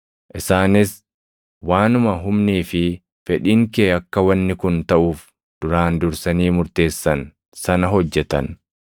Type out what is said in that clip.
Isaanis waanuma humnii fi fedhiin kee akka wanni kun taʼuuf duraan dursanii murteessan sana hojjetan.